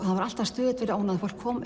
hann var alltaf stöðugt fyrir ónæði fólk kom